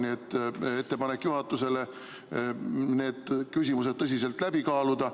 Nii et on ettepanek juhatusele need küsimused tõsiselt läbi kaaluda.